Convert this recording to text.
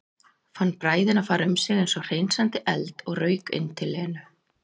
Fann bræðina fara um sig eins og hreinsandi eld og rauk inn til Lenu.